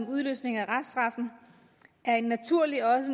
udløsning af reststraffen er en naturlig og